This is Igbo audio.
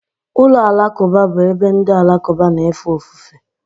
Ụlọ alakụba bụ ebe ndị Alakụba na-efe ofufe.